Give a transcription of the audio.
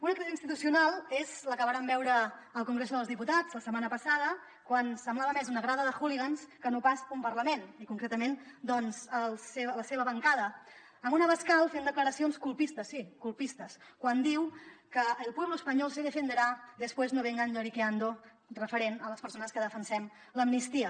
una crisi institucional és la que vàrem veure al congreso dels diputats la setmana passada quan semblava més una grada de hooligans que no pas un parlament i concretament doncs la seva bancada amb un abascal fent declaracions colpistes sí colpistes quan diu que el pueblo español se defenderá después no vengan lloriqueando referent a les persones que defensem l’amnistia